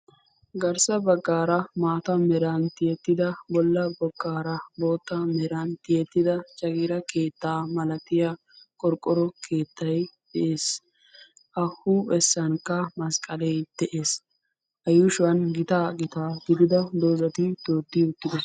garssa baggaara maata meran tiyeettida bolla boggaara bootta meran tiyeettida jagiira keettaa malatiya qorqqoro keettay de'ees a huuphessankka masqqalee de'ees a yuushuwan gitaa gitaa gidida doozati beetti uttidoosona